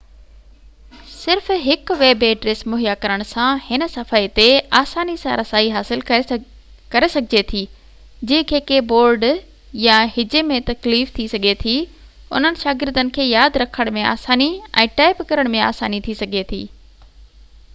صرف هڪ web address مهيا ڪرڻ سان هن صفحي تي آساني سان رسائي ڪري سگهجي ٿي جنهن کي ڪي بورڊ يا هجي ۾ تڪليف ٿي سگهي ٿي انهن شاگردن کي ياد رکهڻ ۾ آساني ۽ ٽائپ ڪرڻ ۾ آساني ٿي سگهي ٿي